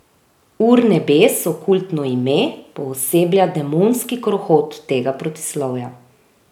Urnebes, okultno ime, pooseblja demonski krohot tega protislovja.